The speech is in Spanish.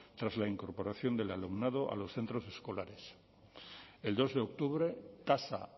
tras la incorporación del alumnado a los centros escolares el dos de octubre tasa